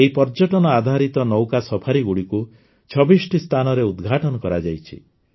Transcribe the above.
ଏହି ପର୍ଯ୍ୟଟନଆଧାରିତ ନୌକା ସଫାରିଗୁଡ଼ିକୁ ୨୬ଟି ସ୍ଥାନରେ ଉଦ୍ଘାଟନ କରାଯାଇଛି